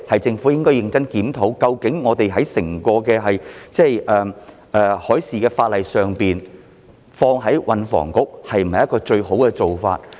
政府應該認真檢討，究竟將海事法例全歸運輸及房屋局處理是否最佳做法？